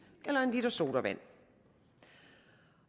eller en l sodavand